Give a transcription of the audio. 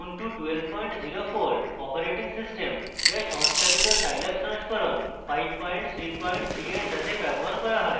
ubuntu 1204 operating system যা সংস্থাপিত scilab সংস্করণ 533 এর সাথে ব্যবহার করা হয়